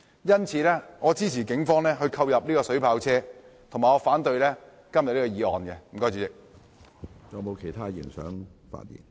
因此，我支持警方購入水炮車，以及反對今天的議案。